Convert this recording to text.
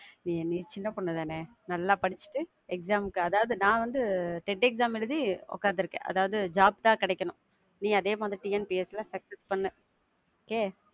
ஏன் நீ சின்ன பொண்ணு தான, நல்லா படிச்சிட்டு exam முக்கு, அதாவது நான் வந்து டெட் exam எழுதி உக்காந்து இருக்கேன். அதாவது job தான் கெடைக்கணும். நீ அதே மாதிரி TNPSC ல success பண்ணு. Okay